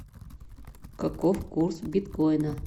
каков курс биткоина